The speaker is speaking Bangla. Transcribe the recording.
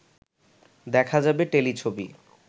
দেখা যাবে টেলিছবি